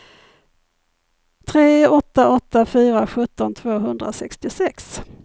tre åtta åtta fyra sjutton tvåhundrasextiosex